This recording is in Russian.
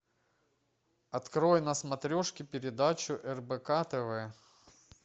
открой на смотрешке передачу рбк тв